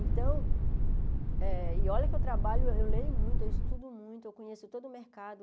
Então, eh e olha que eu trabalho, eu leio muito, eu estudo muito, eu conheço todo o mercado.